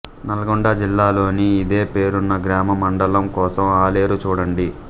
నల్గొండ జిల్లాలోని ఇదే ఫేరున్న గ్రామంమండలం కోసం ఆలేరు చూడండి